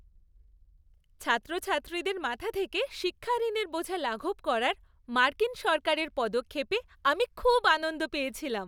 ছাত্রছাত্রীদের মাথা থেকে শিক্ষা ঋণের বোঝা লাঘব করার মার্কিন সরকারের পদক্ষেপে আমি খুব আনন্দ পেয়েছিলাম।